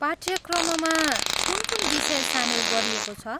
पाठ्यक्रममा कुन कुन विषय सामेल गरिएको छ?